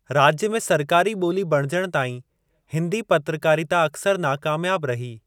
राज्य में सरकारी ॿोली बणिजण ताईं हिंदी पत्रकारिता अक्सर नाकामयाब रही।